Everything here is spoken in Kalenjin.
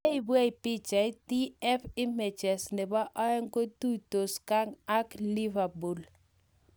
Neibwech pichait, TF-IMAGES Nebo oeng kotuitos Genk ak Liverpool